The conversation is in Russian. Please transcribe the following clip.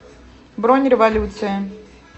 бронь революция